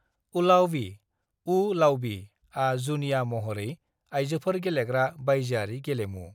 ऊलावबी (वू-लावबी) आ जुनिया महरै आयजोफोर गेलेग्रा बायजोआरि गेलेमु ।